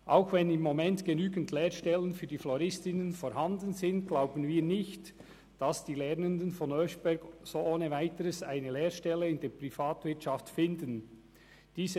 Auch wenn im Moment genügend Lehrstellen für die Floristinnen vorhanden sind, glauben wir nicht, dass die Lernenden vom Oeschberg ohne Weiteres eine Lehrstelle in der Privatwirtschaft gefunden hätten.